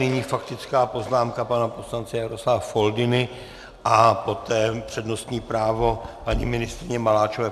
Nyní faktická poznámka pana poslance Jaroslava Foldyny a poté přednostní právo paní ministryně Maláčové.